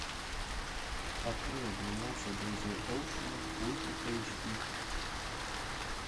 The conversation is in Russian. открой двенадцать друзей оушена ультра эйч ди